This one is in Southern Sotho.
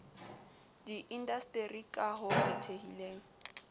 di indasteri ka ho kgethehileng